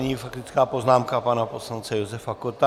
Nyní faktická poznámka pana poslance Josefa Kotta.